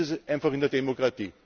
So ist es einfach in der Demokratie!